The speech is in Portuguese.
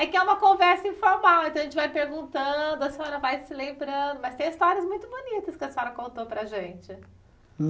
É que é uma conversa informal, então a gente vai perguntando, a senhora vai se lembrando, mas tem histórias muito bonitas que a senhora contou para a gente.